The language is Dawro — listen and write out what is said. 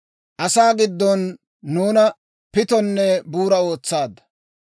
Asaa giddon nuuna pittonne buuraa ootsaadda.